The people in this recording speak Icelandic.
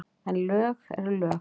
En lög eru lög.